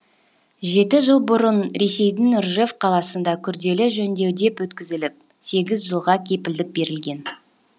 жеті жыл бұрын ресейдің ржев қаласында күрделі жөндеуден өткізіліп сегіз жылға кепілдік берілген